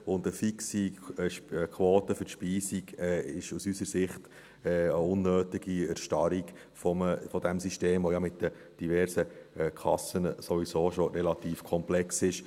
Und eine fixe Quote für die Speisung ist aus unserer Sicht eine unnötige Erstarrung dieses Systems, das ja mit diversen Kassen sowieso schon relativ komplex ist.